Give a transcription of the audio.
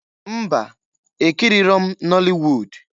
Mba! Ekiriro m nọlị wud.